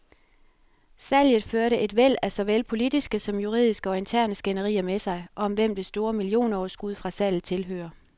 Salget førte et væld af såvel politiske som juridiske og interne skænderier med sig, om hvem det store millionoverskud fra salget tilhører.